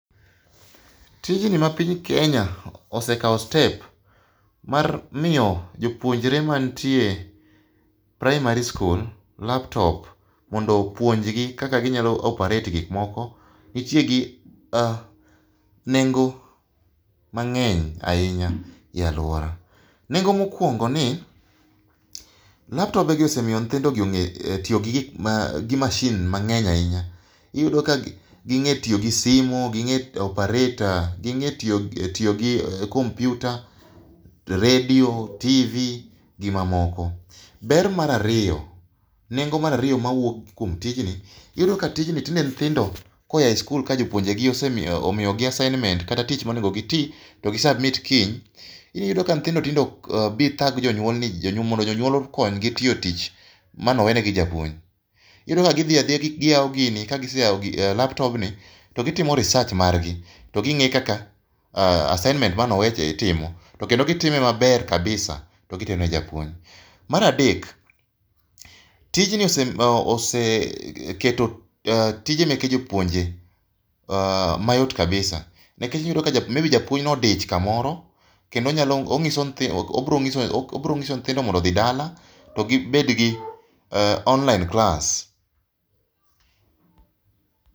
Tijni ma piny Kenya osekawo step mar miyo jopuonjre mantie praimari skul laptop mondo opuonjgi kaka ginyalo operata gik moko, nitie gi nengo mang'eny ahinya e aluora. Nengo mokuongo ni laptobegi osemiyo nyithindogi ong'e tiyo gik gi masin mang'eny ahinya. Iyudo ka ging'e tiyo gi simu ging'e operate ging'e tiyo gi kompiuta redio, tv, gimamoko. Ber mar ariyo, nengo mar ariyo mawuok kuom tijni, iyudo ka tijni tinde nyithindo koa e skul ka jopuonjegi osemiyo gi assingment kata tich monego gitim to gi submit kiny, iyudo ka nyithindo tinde ok bi thag jonyuol ni mondo jonyuol okonygi tiyo tich mane owenegi gi japuonj. Iyudo ka gidhi adhiya giyawo gini ka giseyawo laptobni, to gitimo research margi to ging'e kaka assignment mane owecha itimo to kendo gitimwe maber kabisa. To gitero ne japuonj. Mar adek tijni oseketo tije meke jopuonje mayot kabisa nikech iyudo ni maybe japuonj ne odich kamoro to koro obiro nyiso nyithindo mondo odhi dala to koro obiro bedo gi online class.